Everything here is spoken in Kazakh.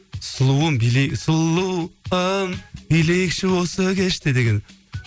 сұлуым сұлуым билейікші осы кеште деген